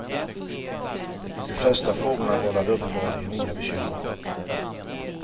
De flesta frågorna vållade uppenbarligen inga bekymmer.